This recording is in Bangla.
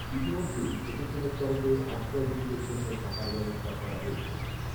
ইতিমধ্যেই প্রশাসনের তরফে আশ্রয়হীনদের জন্য থাকার ব্যবস্থা করা হয়েছে